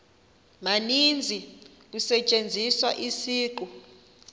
maninzi kusetyenziswa isiqu